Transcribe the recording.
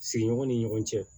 Sigiɲɔgɔn ni ɲɔgɔn cɛ